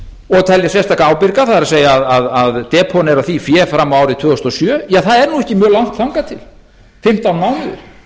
og telja sérstaka ábyrga það er að depónera því fé fram á árið tvö þúsund og sjö það er ekki mjög langt þangað til fimmtán mánuðir